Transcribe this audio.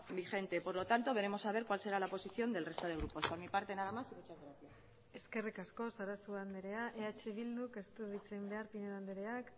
vigente por lo tanto veremos a ver cuál será la posición del resto de grupos por mi parte nada más y muchas gracias eskerrik asko sarasua andrea eh bilduk ez du hitz egin behar pinedo andreak